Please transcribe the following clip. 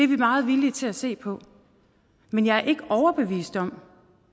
vi meget villige til at se på men jeg er ikke overbevist om